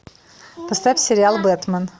поставь сериал бэтмен